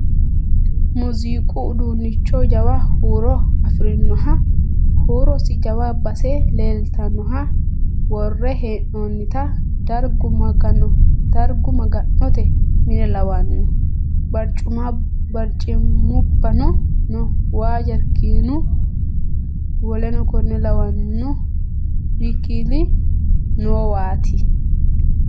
Muuziiqu uduunnicho jawa huuro afirinoha huurosi jawa base leeltannoha worre hee'noonnita dargu maga'note mine lawanno. Barcimubbano no, waa jarkaanunu w. k. l noowaati.